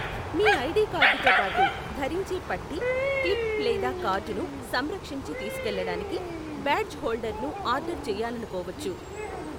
మీ ID కార్డుతో పాటు, ధరించే పట్టీ, క్లిప్ లేదా కార్డును సంరక్షించి తీసుకెళ్లడానికి బ్యాడ్జ్ హోల్డర్ను ఆర్డర్ చేయాలనుకోవచ్చు.